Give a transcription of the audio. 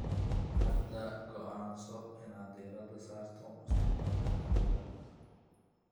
Hadda go'aanso inaad diirada saarto mustaqbalkaaga.